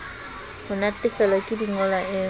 ho natefelwa ke dingolwa e